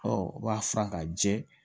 Ɔ u b'a furan ka jɛ